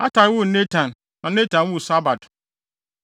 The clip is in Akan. Atai woo Natan na Natan woo Sabad.